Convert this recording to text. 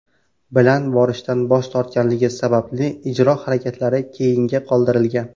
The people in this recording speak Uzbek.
bilan borishdan bosh tortganligi sababli ijro harakatlari keyinga qoldirilgan.